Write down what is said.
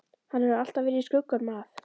Hann hefur alltaf verið í skugganum af